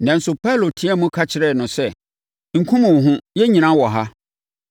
Nanso, Paulo teaam ka kyerɛɛ no sɛ, “Nkum wo ho! Yɛn nyinaa wɔ ha!”